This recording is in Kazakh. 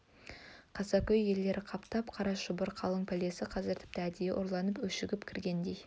қаскөй иелері қаптатқан қара шұбар қалың пәлесі қазір тіпті әдейі ұрланып өшігіп кіргендей